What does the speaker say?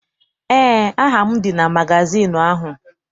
Eé, aha m dị na magazịịnụ ahụ.